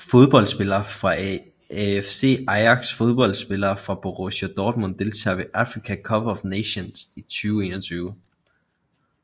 Fodboldspillere fra AFC Ajax Fodboldspillere fra Borussia Dortmund Deltagere ved Africa Cup of Nations 2021